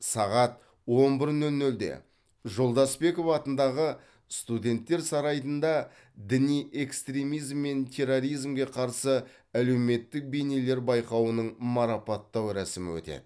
сағат он бір нөл нөлде жолдасбеков атындағы студенттер сарайында діни экстремизм мен терроризмге қарсы әлеуметтік бейнелер байқауының марапаттау рәсімі өтеді